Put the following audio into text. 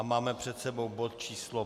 A máme před sebou bod číslo